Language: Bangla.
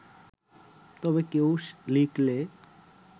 তবে কেউ লিখলে